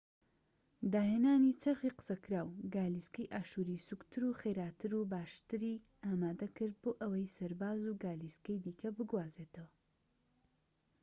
داهێنانی چەرخی قسەکراو گالیسکەی ئاشووری سووکتر و خێراتر و باشتری ئامادە کرد بۆ ئەوەی سەرباز و گالیسکەی دیکە بگوازێتەوە